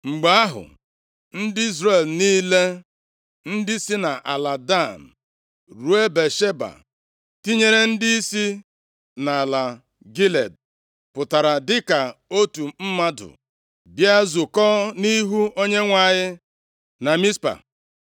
Mgbe ahụ, ndị Izrel niile ndị si nʼala Dan ruo Bịasheba, tinyere ndị si nʼala Gilead, pụtara dịka otu mmadụ, bịa zukọọ nʼihu Onyenwe anyị na Mizpa.